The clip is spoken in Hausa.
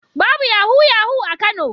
Babu yahu-yahu a Kano.